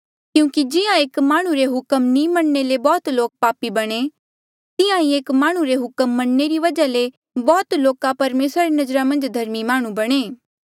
क्यूंकि जिहां एक माह्णुं रे हुक्म नी मनणे ले बौह्त लोक पापी बणे तिहां ही एक माह्णुं रे हुक्म मनणे री वजहा ले बौह्त लोका परमेसरा री नजरा मन्झ धर्मी माह्णुं बणे